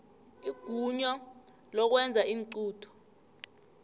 igunya lokwenza iinqunto